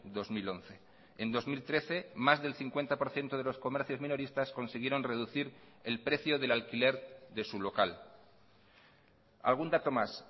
dos mil once en dos mil trece más del cincuenta por ciento de los comercios minoristas consiguieron reducir el precio del alquiler de su local algún dato más